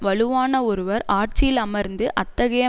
வலுவான ஒருவர் ஆட்சியில் அமர்ந்து அத்தகைய